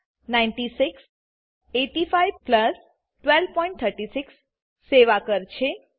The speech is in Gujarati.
9600 8500 1236 સેવા કર છે